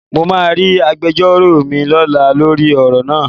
Mo máa rí agbejọ́rò mi lọ́la lórí ọ̀rọ̀ náà.